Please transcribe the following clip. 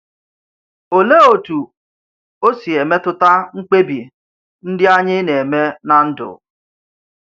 Olèé otú ọ̀ si emètùtà mkpébì ndị ányị̀ nà-eme nà ndú?